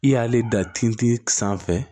I y'ale da tin sanfɛ